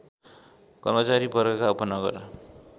कर्मचारी वर्गका उपनगर